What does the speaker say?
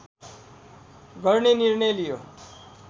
गर्ने निर्णय लियो